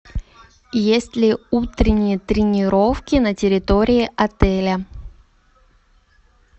есть ли утренние тренировки на территории отеля